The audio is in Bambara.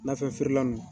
Nafɛn feerela nunnu